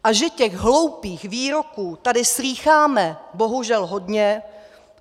A že těch hloupých výroků tady slýcháme, bohužel, hodně!